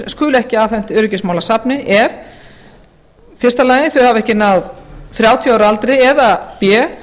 skuli ekki afhent öryggismálasafni ef a þau hafa ekki náð þrjátíu ára aldri eða b